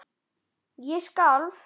Ég skalf.